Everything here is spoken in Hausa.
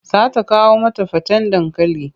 Za ta kawo mata faten dankali.